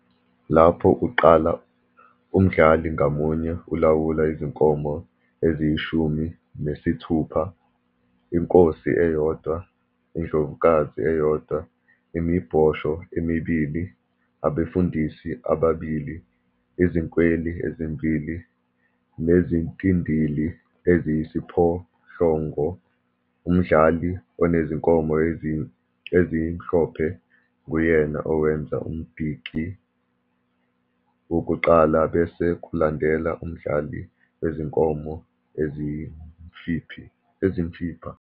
Lapho uqala, umdlali ngamunye ulawula izinkomo eziyishumi mesithupha - inkosi eyodwa, indlovukazi eyodwa, imibhosho emibili, abefundisi ababili, izinkweli ezimbili, nezintindili eziyisiphohlongo. Umdlali onezinkomo ezimhlophe nguyena owenza umdiki wokuqala, bese kulandela umdlali wezinkomo ezimfipha.